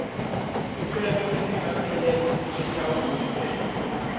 ticelo letingakapheleli titawubuyiselwa